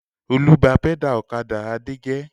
Olú bá pẹ́dà ọ̀kadà Adé jẹ́.